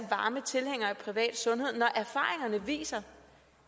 varme tilhængere af privat sundhed når erfaringerne viser